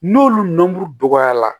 N'olu dɔgɔyara